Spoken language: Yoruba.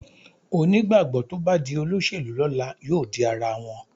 Onígbàgbọ́ tó bá di olóṣèlú lọ́la yóò di ara wọn